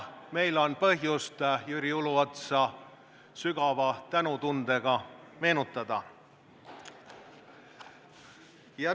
Meil on põhjust Jüri Uluotsa sügava tänutundega meenutada.